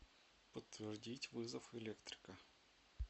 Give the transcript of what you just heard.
подтвердить вызов электрика